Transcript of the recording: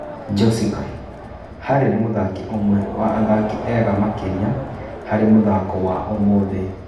Njosika: Harĩ nĩ mũthaki ũmwe wa athaki ega makĩria harĩ mũthako wa ũmũthĩ.